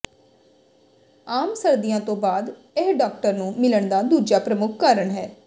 ਆਮ ਸਰਦੀਆਂ ਤੋਂ ਬਾਅਦ ਇਹ ਡਾਕਟਰ ਨੂੰ ਮਿਲਣ ਦਾ ਦੂਜਾ ਪ੍ਰਮੁੱਖ ਕਾਰਨ ਹੈ